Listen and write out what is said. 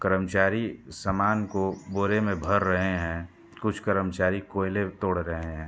कर्मचारी सामान को बोरे में भर रहे हैं। कुछ कर्मचारी कोयले तोड़ रहे हैं।